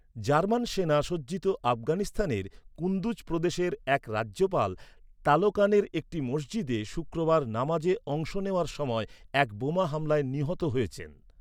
German সেনা সজ্জিত আফগানিস্তানের কুন্দুজ প্রদেশের এক রাজ্যপাল তালোকানের একটি মসজিদে শুক্রবারের নমাজে অংশ নেওয়ার সময় এক বোমা হামলায় নিহত হয়েছেন।